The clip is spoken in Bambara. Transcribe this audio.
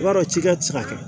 I b'a dɔn cikɛ tɛ se ka kɛ